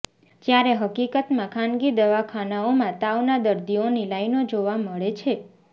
જયારે હકીકતમાં ખાનગી દવાખાનાઓમાં તાવના દર્દીઓની લાઇનો જોવા મળે છે